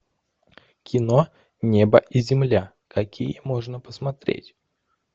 кино небо и земля какие можно посмотреть